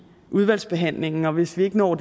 udvalgsbehandlingen og hvis vi ikke når